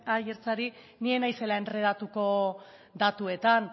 aiartzari ni ez naizela enredatuko datuetan